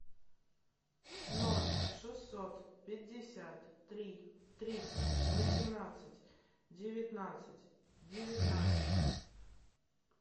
ноль шестьсот пятьдесят три триста восемнадцать девятнадцать девятнадцать